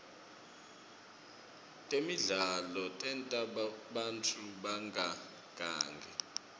temidlalo tenta bantfu bangagangi